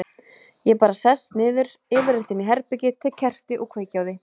Ég bara sest niður, yfirleitt inni í herbergi, tek kerti og kveiki á því.